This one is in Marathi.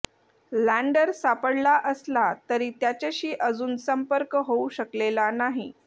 लँडर सापडला असला तरी त्याच्याशी अजून संपर्क होऊ शकलेला नाही